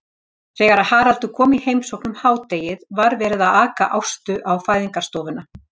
Þegar Haraldur kom í heimsókn um hádegið var verið að aka Ástu á fæðingarstofuna.